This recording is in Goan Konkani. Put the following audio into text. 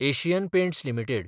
Asian Paints limited